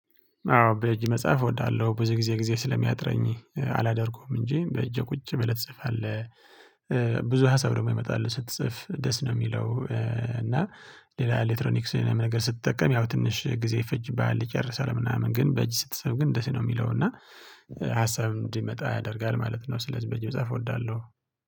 አዎ በእጅ መጻፍ እወዳለሁ ብዙ ጊዜ ጊዜ ስለሚያጥረኝ አላደርገውም እንጂ በእጅ ቁጭ ብለህ ትጽፋለህ። ብዙ ሀሳብ ደግሞ ይመጣሉ ስትፅፍ ደስ ነው የሚለው እና። ሌላ ኤሌክትሮኒክስ ምንም ነገር ስትጠቀም ያው ትንሽ ጊዜ ይፈጅብሃል። ይጨርሳል ምናምን ግን በእጅ ስትፅፍ ግን ደስ ነው የሚለው እና። ሀሳብ እንዲመጣ ያደርጋል ማለት ነው። ስለዚህ በእጅ መጻፍ እወዳለሁ